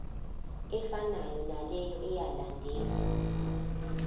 efanayo naleyo eyalandelwa